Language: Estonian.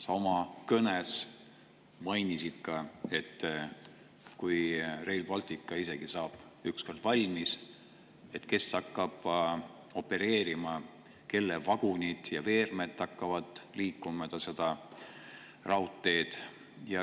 Sa oma kõnes mainisid ka, et isegi kui Rail Baltic saab ükskord valmis, siis kes hakkab sellel opereerima, kelle vagunid ja veerem hakkavad mööda seda raudteed liikuma.